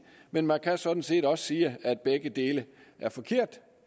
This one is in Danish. men man kan sådan set også sige at begge dele er forkerte